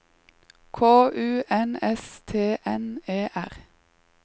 K U N S T N E R